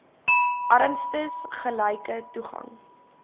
armstes gelyke toegang